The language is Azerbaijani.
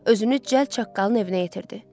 Özünü cəld çaqqalın evinə yetirdi.